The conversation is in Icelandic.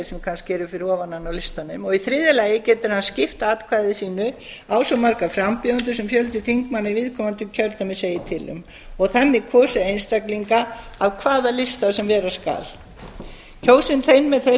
sem kannski eru fyrir ofan hann á listanum í þriðja lagi getur hann skipt atkvæði sínu á svo marga frambjóðendur sem fjöldi þingmanna í viðkomandi kjördæmi segir til um og þannig kosið einstaklinga af hvaða lista sem vera skal kjósi þeir með þeirri